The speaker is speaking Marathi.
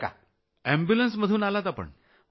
रूग्णवाहिकेतनं आलात आपण